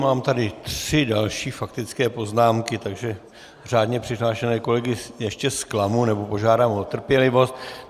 Mám tady tři další faktické poznámky, takže řádně přihlášené kolegy ještě zklamu, nebo požádám o trpělivost.